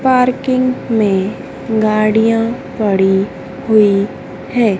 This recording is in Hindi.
पार्किंग में गाड़ियां पड़ी हुई है।